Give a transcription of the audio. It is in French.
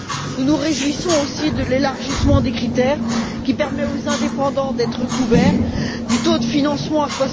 Nous nous réjouissons aussi de l'élargissement des critères, qui permet aux indépendants d'être couverts par le taux de financement à